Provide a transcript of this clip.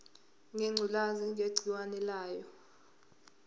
ngengculazi negciwane layo